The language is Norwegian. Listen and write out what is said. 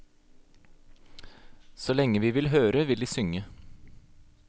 Så lenge vi vil høre, vil de synge.